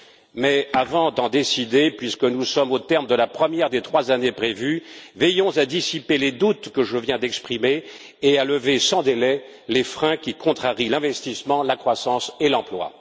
Mais avant d'en décider, puisque nous sommes au terme de la première des trois années prévues, veillons à dissiper les doutes que je viens d'exprimer et à lever sans délai les freins qui contrarient l'investissement, la croissance et l'emploi.